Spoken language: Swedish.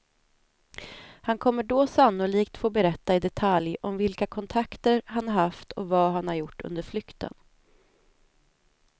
Han kommer då sannolikt få berätta i detalj om vilka kontakter han har haft och vad han har gjort under flykten.